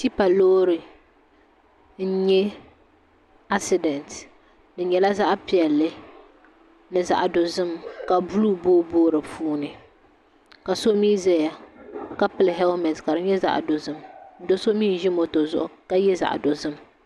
Tipa loori n nyɛ asidɛnt di nyɛla zaɣ piɛlli ni zaɣ dozim ka buluu booi booi di puuni ka so mii ʒɛya ka pili hɛlmɛnt ka di nyɛ zaɣ dozim do so mii n ʒi moto zuɣu ka yɛ zaɣ dozim